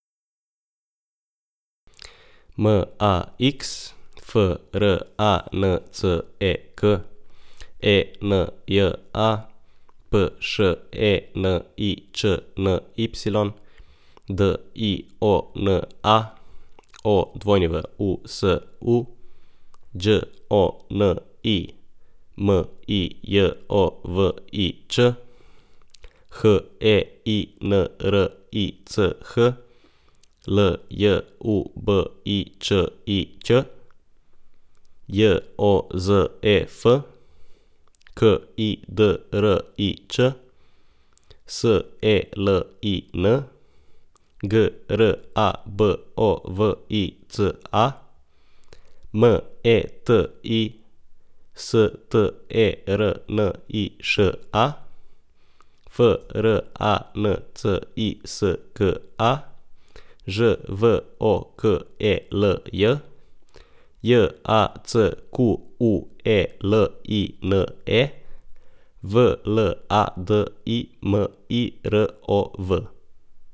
M A X, F R A N C E K; E N J A, P Š E N I Č N Y; D I O N A, O W U S U; Đ O N I, M I J O V I Č; H E I N R I C H, L J U B I Č I Ć; J O Z E F, K I D R I Č; S E L I N, G R A B O V I C A; M E T I, S T E R N I Š A; F R A N C I S K A, Ž V O K E L J; J A C Q U E L I N E, V L A D I M I R O V.